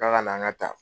K'a ka na an ka taa